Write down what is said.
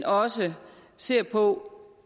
også ser på